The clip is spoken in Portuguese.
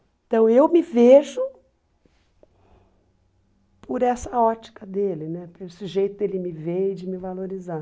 Então eu me vejo por essa ótica dele né, por esse jeito dele me ver e de me valorizar.